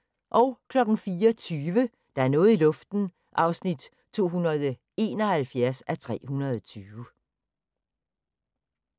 04:20: Der er noget i luften (271:320)